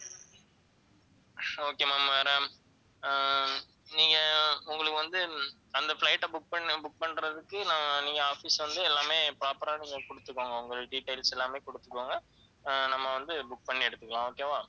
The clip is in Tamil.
okay ma'am வேற ஆஹ் நீங்க உங்களுக்கு வந்து அந்த flight அ book பண்ண book பண்றதுக்கு நான் நீங்க office வந்து எல்லாமே proper ஆ நீங்க கொடுத்துக்கோங்க உங்கள் details எல்லாமே கொடுத்துக்கோங்க ஆஹ் நம்ம வந்து book பண்ணி எடுத்துக்கலாம் okay வா